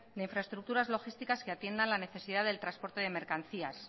de infraestructuras logísticas que atiendan la necesidad del transporte de mercancías